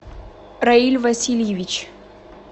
раиль васильевич